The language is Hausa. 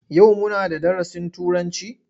Yau muna da darasin Turanci?